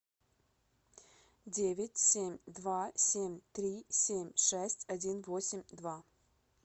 девять семь два семь три семь шесть один восемь два